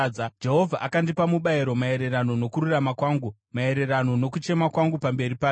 Jehovha akandipa mubayiro maererano nokururama kwangu, maererano nokuchema kwangu pamberi pake.